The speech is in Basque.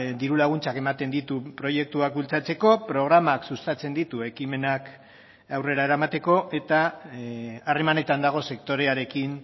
diru laguntzak ematen ditu proiektuak bultzatzeko programak sustatzen ditu ekimenak aurrera eramateko eta harremanetan dago sektorearekin